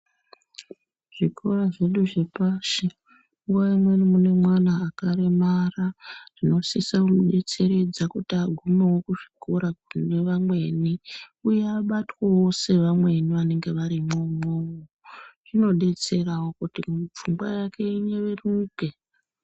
Zvikora zvedu zvepashi nguwa imweni mune mwana akaremara tinosisa kubetseredza kuti agume kuzvikora kune vamweni uye abatwewo sevamweni vanenge varimo umwomwo zvinobetserawo kut pfungwa yake inyeveruke.